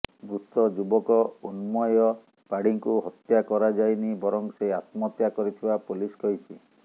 ମୃତ ଯୁବକ ଉନ୍ମୟ ପାଢ଼ୀଙ୍କୁ ହତ୍ୟା କରାଯାଇନି ବରଂ ସେ ଆତ୍ମହତ୍ୟା କରିଥିବା ପୋଲିସ କହିଛି